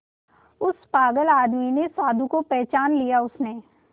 उस पागल आदमी ने साधु को पहचान लिया उसने